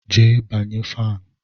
Jee banye fanụ!